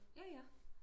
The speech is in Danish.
jaja